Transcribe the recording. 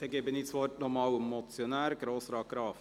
Ich erteile das Wort noch einmal dem Motionär, Grossrat Graf.